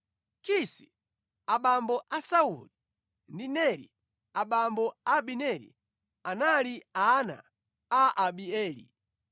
Kisi abambo a Sauli ndi Neri abambo a Abineri anali ana a Abieli.